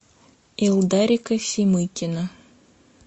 илдарика семыкина